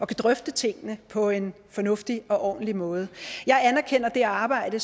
kan drøfte tingene på en fornuftig og ordentlig måde jeg anerkender det arbejde